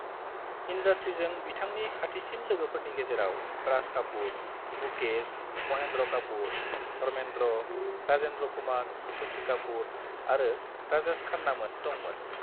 इंडास्ट्रीजों बिथांनि खाथिसिन लोगोफोरनि गेजेराव राज कापूर, मुकेश, महेन्द्र कापूर, धर्मेन्द्र, राजेन्द्र कुमार, शशि कापूर आरो राजेश खान्नामोन दंमोन।